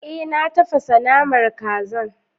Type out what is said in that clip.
Ee na tafasar da naman kazan